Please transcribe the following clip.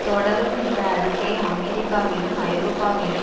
தொடரும் இந்த அறிக்கை அமெரிக்காவிலும் ஐரோப்பாவிலும்